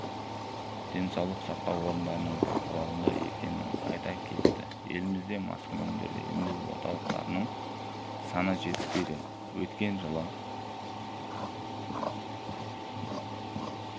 денсаулық сақтау орындарының бақылауында екенін айта кетті елімізде маскүнемдерді емдеу орталықтарының саны жетіспейді өткен жылы